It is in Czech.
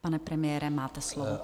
Pane premiére, máte slovo.